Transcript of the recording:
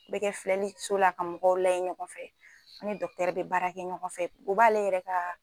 Bɛɛ kɛ filɛliso la ka mɔgɔw layɛ ɲɔgɔn fɛ an ni bɛ baara kɛ ɲɔgɔn fɛ u b'ale yɛrɛ ka